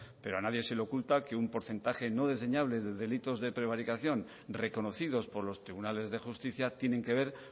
pero nadie se le oculta que un porcentaje no desdeñable de delitos de prevaricación reconocidos por los tribunales de justicia tienen que ver